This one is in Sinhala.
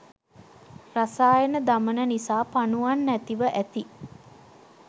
රසායන දමන නිසා පණුවන් නැතිව ඇති.